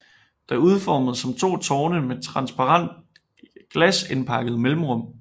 Det er udformet som to tårne med et transparent glasindpakket mellemrum